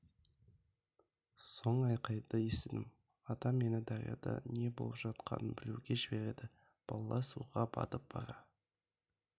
соң айқайды естідім атам мені дарияда не болып жатқанын білуге жіберді балалар суға батып бара